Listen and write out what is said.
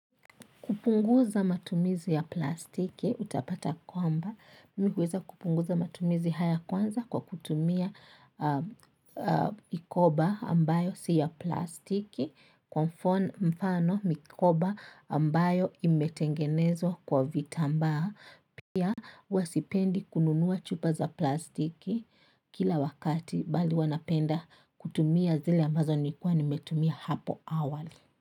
Kupunguza matumizi ya plastiki, utapata kwamba, mihuweza kupunguza matumizi haya kwanza kwa kutumia mikoba ambayo si ya plastiki, kwa mfano mikoba ambayo imetengenezwa kwa vitambaa, pia huwa sipendi kununua chupa za plastiki kila wakati bali huwa napenda kutumia zile ambazo nilikuwa nimetumia hapo awali.